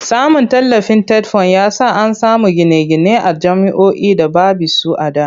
Samun tallafin TETFUND ya sa an samu gine-gine a jami'oi da baby su a da.